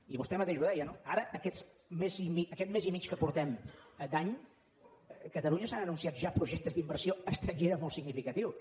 i vostè mateix ho deia no ara aquest mes i mig que portem d’any a catalunya s’han anunciat ja projectes d’inversió estrangera molt significatius